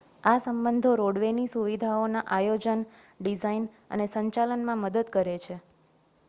આ સંબંધો રોડવે ની સુવિધાઓના આયોજન ડિઝાઇન અને સંચાલનમાં મદદ કરે છે